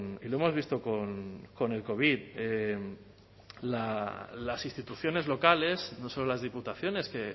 y lo hemos visto con el covid las instituciones locales no solo las diputaciones que